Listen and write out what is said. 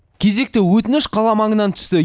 кезекті өтініш қала маңынан түсті